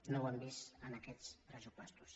no ho hem vist en aquest pressuposts